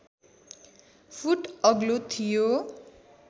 foot अग्लो थियो